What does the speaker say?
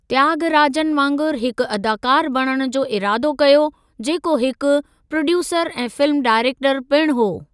त्यागराजन वांगुरु हिकु अदाकारु बणण जो इरादो कयो, जेको हिकु प्रोड्यूसरु ऐं फ़िल्मु डायरेक्टरु पिणु हो।